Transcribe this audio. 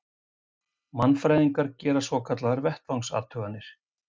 Mannfræðingar gera svokallaðar vettvangsathuganir.